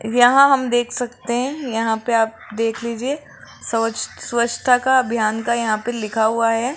यहां हम देख सकते हैं यहां पे आप देख लीजिए सोच स्वच्छता का अभियान का यहां पे लिखा हुआ है।